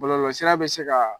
Bɔlɔlɔsira bɛ se kaa